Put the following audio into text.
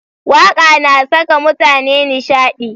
Waƙa na saka mutane nishaɗi.